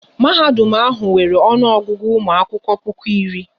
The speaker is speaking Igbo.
Mahadum ahụ nwere ọnụ Ọgụgụ ụmụ akwụkwọ puku iri